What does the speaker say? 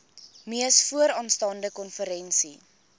mees vooraanstaande konferensie